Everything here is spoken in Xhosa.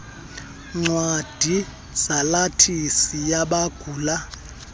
ncwadi salathisi yabagula